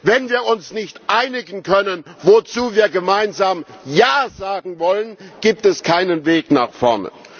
Wenn wir uns nicht einigen können, wozu wir gemeinsam Ja sagen wollen, gibt es keinen Weg nach vorne.